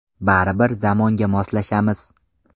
Baribir zamonga moslashamiz.